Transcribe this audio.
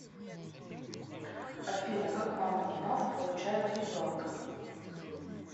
афина как мама и папа получают ребенка